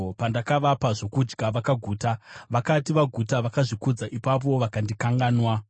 Pandakavapa zvokudya, vakaguta; vakati vaguta, vakazvikudza ipapo vakandikanganwa.